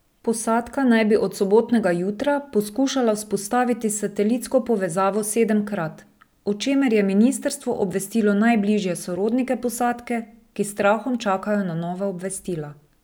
Posadka naj bi od sobotnega jutra poskušala vzpostaviti satelitsko povezavo sedemkrat, o čemer je ministrstvo obvestilo najbližje sorodnike posadke, ki s strahom čakajo na nova obvestila.